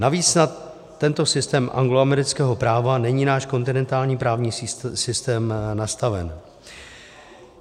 Navíc na tento systém angloamerického práva není náš kontinentální právní systém nastaven.